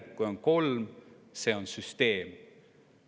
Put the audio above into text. Kui on kolm, siis on see süsteemne.